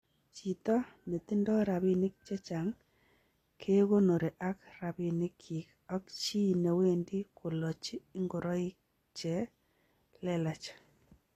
Chito netindo rabinik chechang' kegonori ak rabinik kyik ak chi newendi kolochi ingoroik c helelach.